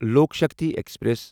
Lok Shakti express